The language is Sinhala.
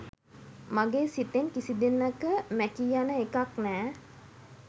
මගේ සිතෙන් කිසි දිනක මැකී යන එකක් නෑ.